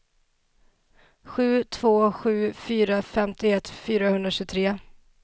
sju två sju fyra femtioett fyrahundratjugotre